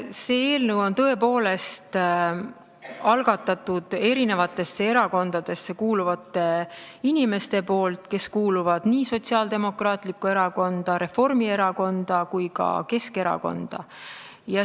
Selle eelnõu on tõepoolest algatanud eri erakondadesse kuuluvad inimesed, nad kuuluvad Sotsiaaldemokraatlikku Erakonda, Reformierakonda ja ka Keskerakonda.